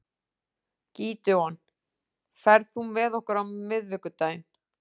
Gídeon, ferð þú með okkur á miðvikudaginn?